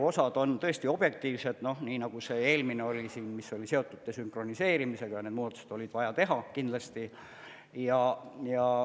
Osad on tõesti objektiivsed, nii nagu see eelmine oli, mis oli seotud desünkroniseerimisega, need muudatused oli vaja teha kindlasti.